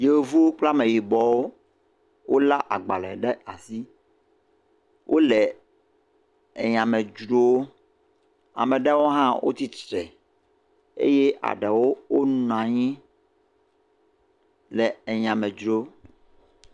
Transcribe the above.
Yevu kple ameyibɔwo wole agbale ɖe asi. Wo le enya me dzrom. Ame aɖewo hã wotsi tsitre eye eɖewo wonɔ anyi le enya me dzrom.